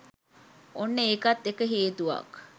ඔන්න ඒකත් එක හේතුවක්